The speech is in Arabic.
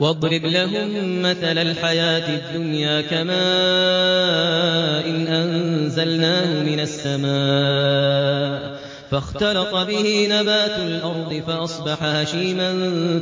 وَاضْرِبْ لَهُم مَّثَلَ الْحَيَاةِ الدُّنْيَا كَمَاءٍ أَنزَلْنَاهُ مِنَ السَّمَاءِ فَاخْتَلَطَ بِهِ نَبَاتُ الْأَرْضِ فَأَصْبَحَ هَشِيمًا